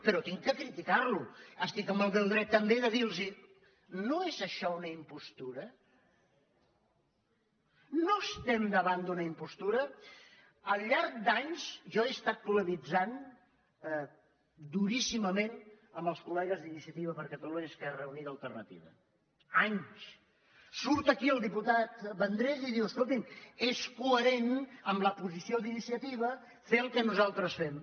però haig de criticar lo estic en el meu dret també de dir los no és això una impostura no estem davant d’una impostura al llarg d’anys jo he estat polemitzant duríssimament amb els col·legues d’iniciativa per catalunya esquerra unida i alternativa anys surt aquí el diputat vendrell i diu escolti’m és coherent amb la posició d’iniciativa fer el que nosaltres fem